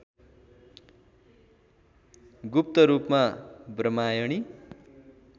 गुप्त रूपमा ब्रम्हायणी